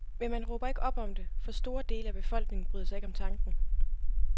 Men man råber ikke op om det, for store dele af befolkningen bryder sig ikke om tanken.